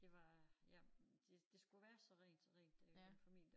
Det var ja det det skulle være så rent så rent der i den familie